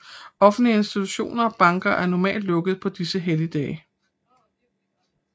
Offentlige institutioner og banker er normalt lukket på disse helligdage